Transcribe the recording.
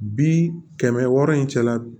Bi kɛmɛ wɔɔrɔ in cɛla